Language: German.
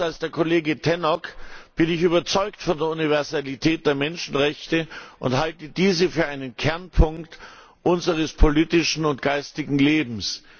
Anders als der Kollege Tannock bin ich überzeugt von der Universalität der Menschenrechte und halte diese für einen Kernpunkt unseres politischen und geistigen Lebens.